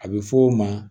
A bɛ fɔ o ma